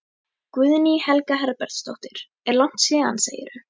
Guðný Helga Herbertsdóttir: Er langt síðan segirðu?